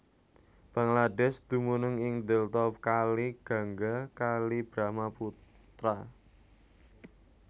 Bangladesh dumunung ing Delta Kali Gangga Kali Brahmaputra